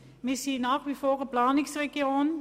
Wir sind nach wie vor eine Planungsregion.